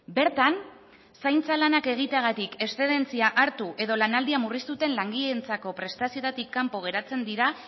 bertan zaintza lanak egiteagatik eszedentzia hartu edo lanaldia murriztu duten langileentzako prestazioetatik kanpo geratzen dira